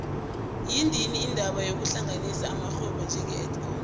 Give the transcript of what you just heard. yandile indaba yokuhlanganisa amarhwebo njenge edcon